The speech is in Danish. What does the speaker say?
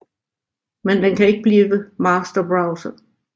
Men den kan ikke blive Master Browser